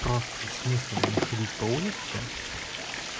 просто смысл мне ходить по улице